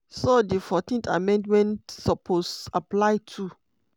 so di 14th amendment suppose apply too.